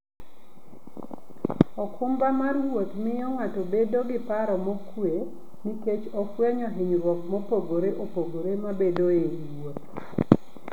okumba mar wuoth miyo ng'ato bedo gi paro mokuwe nikech ofwenyo hinyruok mopogore opogore mabedoe e wuoth.